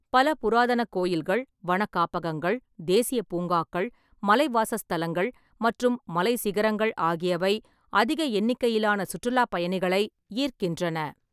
பல புராதன கோயில்கள், வன காப்பகங்கள், தேசிய பூங்காக்கள், மலைவாசஸ்தலங்கள் மற்றும் மலை சிகரங்கள் ஆகியவை அதிக எண்ணிக்கையிலான சுற்றுலாப் பயணிகளை ஈர்க்கின்றன.